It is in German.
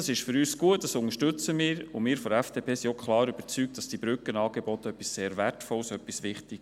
Wir unterstützen die SwissSkills, und die Brückenangebote sind sehr wertvoll und wichtig.